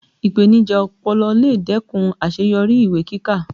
Ipenija ọpọlọ lè dẹ́kun àṣeyọrí ìwé kíkà